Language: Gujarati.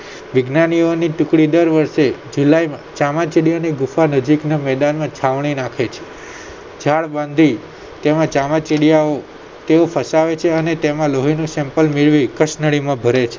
વિજ્ઞાનીઓની ટુકડીઓ દર વર્ષે જુલાઈ માં ચામાચીડિયાની ગુફા નજીકના મેદાનમાં છાવણી નાખે છે ત્યારબાદ તે તેમાં ચામાચીડિયાઓ તેઓ ફસાવે છે અને તેમના લોહીનું sample મેળવી કસનળીમાં ભરે છે